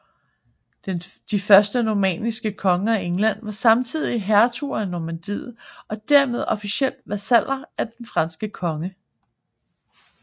De første normanniske konger af England var samtidig hertuger af Normandiet og dermed officielt vasaller af den franske konge